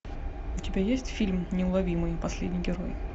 у тебя есть фильм неуловимые последний герой